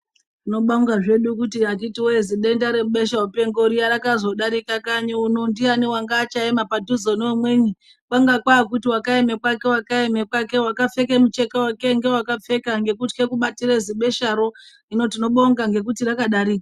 Tinobonga zvedu kuti akiti wee zidenda rebeshamupengo riya rakazodarikakanyi uno. Ndiyani wanga uchaema padhuze neumweni, kwanga kwaakuti wakaeme kwake wakaeme kwake, wakapfeke mucheka wake ngewakapfeka ngekutye kubatire zibesharo. Hino tinobonga ngekuti rakdari...